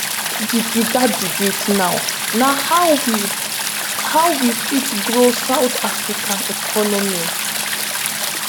"di bigger debate now na how we how we fit grow south africa economy.